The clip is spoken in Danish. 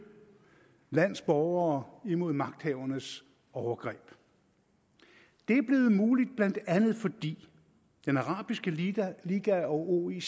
landes borgere imod magthavernes overgreb det er blevet muligt blandt andet fordi den arabiske liga liga og oic